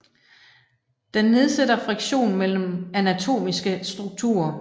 Den nedsætter friktion mellem anatomiske strukturer